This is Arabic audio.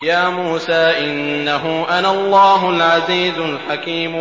يَا مُوسَىٰ إِنَّهُ أَنَا اللَّهُ الْعَزِيزُ الْحَكِيمُ